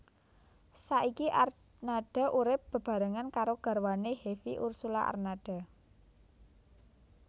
Saiki Arnada urip bebarengan karo garwane Hevie Ursulla Arnada